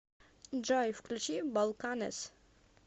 джой включи балканэс